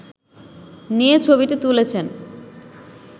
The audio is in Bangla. নিয়ে ছবিটি তুলেছেন